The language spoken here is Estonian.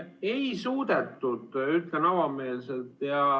Ei suudetud, ütlen avameelselt.